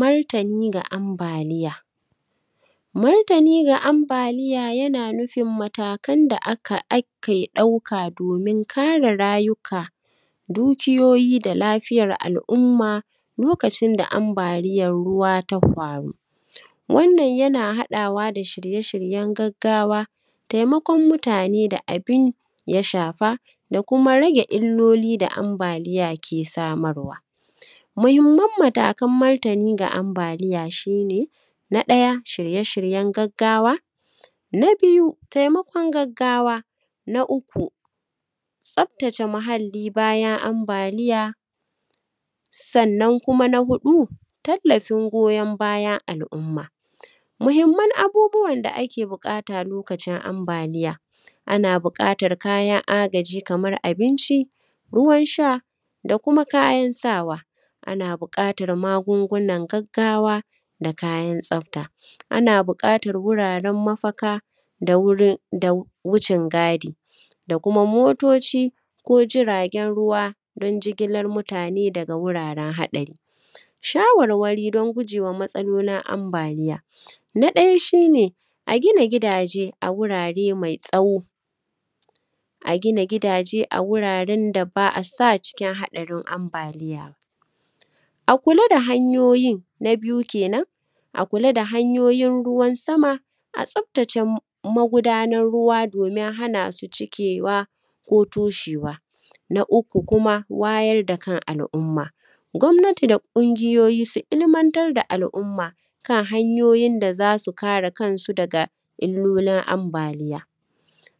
Martani ga ambaliya. Martani ga ambaliya yana nufin matakan da aka, ake ɗauka domin kare rayuka, dukiyoyi da lafiyar al’umma lokacin da ambaliyar ruwa tah hwaru. Wannan yana haɗawa da shirye-shiryen gaggawa, taimakon mutane da abin ya shafa, da kuma rage illoli da ambaliya ke samarwa. Muhimman matakan martini ga ambaliya shi ne, na ɗaya, shirye-shiryen gaggawa; na biyu taimakon gaggawa; na uku, tsabtace muhalli bayan ambaliya; sannan kuma na huɗu, tallafin goyon bayan al’umma. Muhimman abubuwan da ake buƙata lokacin ambaliya. Ana buƙatar kayan agaji kamar abinci, ruwan sha, da kuma kayan sawa. Ana buƙatar magungunan gaggawa, da kayan tsabta. Ana buƙatar wuraren mafaka, da wurin, da wucin-gadi, da kuma motoci ko jiragen ruwa don jigilar mutane daga wuraren haɗari. Shawarwari don guje wa matsalolin ambaliya. Na ɗaya shi ne, a gina gidaje a wurare mai tsawo; a gina gidaje da ba a sa cikin haɗarin ambaliya; a kula da hanyoyin, na biyu ke nan; a kula da hanyoyin ruwan sama, a tsabtace magudanar ruwa domin hana su cikewa ko toshewa. Na uku kuma, wayar da kan al’umma. Gwamnati da ƙungiyoyi su ilmantar da al’umma, kan hanyoyin da za su kare kansu daga illolin ambaliya.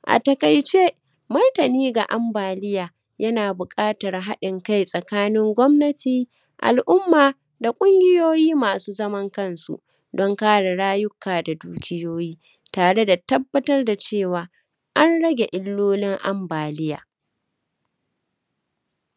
A taƙaice, martini ga ambaliya, yana buƙatar haɗin kai tsakanin gwamnati, al’umma, da ƙungiyoyi masu zaman kansu, don kare rayuka da dukiyoyi, tare da tabbatar da cewa, an rage illolin ambaliya.